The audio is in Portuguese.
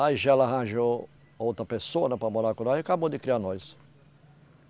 Aí já ela arranjou outra pessoa né para morar com nós e acabou de criar nós.